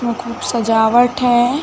में खूब सजावट हैं ।